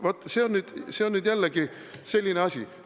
Vaat, see on nüüd jällegi selline asi.